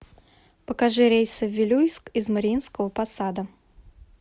покажи рейсы в вилюйск из мариинского посада